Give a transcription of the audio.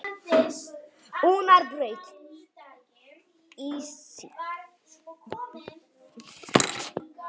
Unnarbraut